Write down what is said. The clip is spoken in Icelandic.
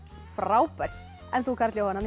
frábært en þú Karl Jóhann